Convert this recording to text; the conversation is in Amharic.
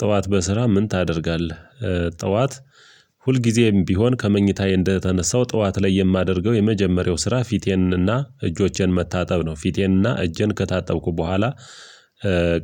ጠዋት በስራ ምን ታደርጋለህ? ጠዋት ሁልጊዜም ቢሆን ከመኝታዬ እንደተነሳው ጠዋት ላይ የማደርገው የመጀመሪያው ስራ ፊቴንና እጆቼን መታጠብ ነው ፊቴንና እጄን ከታጠብኩ በኋላ